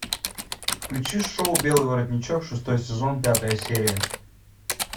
включи шоу белый воротничок шестой сезон пятая серия